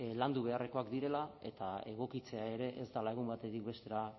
landu beharrekoak direla eta egokitzea ere ez dela egun batetik bestera